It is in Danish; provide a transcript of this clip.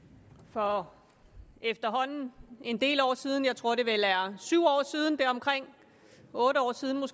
for efterhånden en del år siden jeg tror det vel er syv otte år siden var